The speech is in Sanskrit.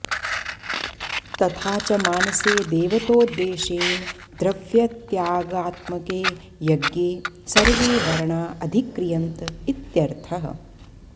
तथाच मानसे देवतोद्देशेन द्रव्यत्यागात्मके यज्ञे सर्वे वर्णा अधिक्रियन्त इत्यर्थः